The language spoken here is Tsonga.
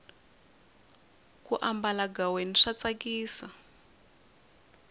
ku ambala ghaweni swa tsakisa